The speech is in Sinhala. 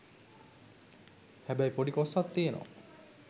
හැබැයි පොඩි කොස්සක් තියනවා.